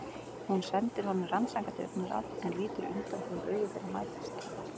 Hún sendir honum rannsakandi augnaráð en lítur undan þegar augu þeirra mætast.